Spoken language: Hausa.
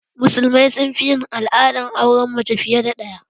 Musulmai sun fi yin al'adar auren mace fiye da ɗaya